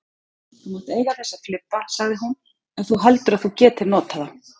Þú mátt eiga þessa flibba sagði hún, ef þú heldur að þú getir notað þá.